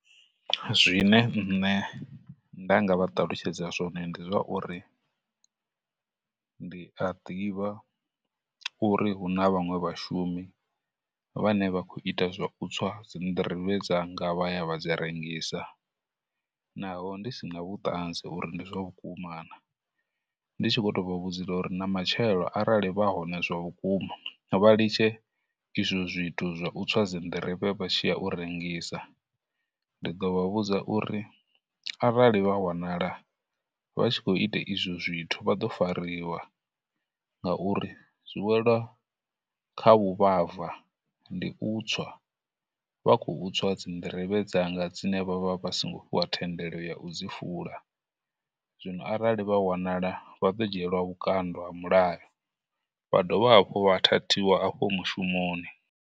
Zwine nṋe nda nga vha ṱalutshedza zwone ndi zwa uri ndi a ḓivha uri hu na vhaṅwe vhashumi vhane vha khou ita zwa u tswa dzinḓirivhe dzanga vha ya vha dzi rengisa, naho ndi sina vhuṱanzi uri ndi zwa vhukuma na, ndi tshi vho tou vha vhudzela uri na matshelo arali vha hone zwavhukuma, vha litshe izwo zwithu zwa u tswa dzinḓirivhe vha tshi ya u rengisa. Ndi ḓo vha vhudza uri arali vha wanala vha tshi khou ita izwo zwithu vha ḓo fariwa, ngauri zwi wela kha vhuvhava, ndi u tswa, vha khou tswa dzinḓirivhe dzanga dzine vha vha vha songo fhiwa thendelo ya u dzi fula, zwino arali vha wanala vha ḓo dzhielwa vhukando ha mulayo vha dovha hafhu vha thathiwa afho mushumoni.